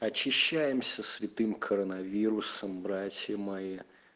очищаемся святым коронавирусом братья мои